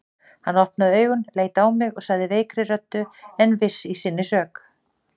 Hann opnaði augun, leit á mig og sagði veikri röddu en viss í sinni sök